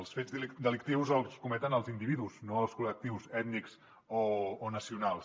els fets delictius els cometen els individus no els col·lectius ètnics o nacionals